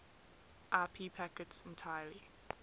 ip packets entirely